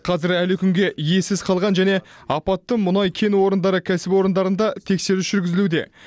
қазір әлі күнге иесіз қалған және апатты мұнай кен орындары кәсіпорындарында тексеріс жүргізілуде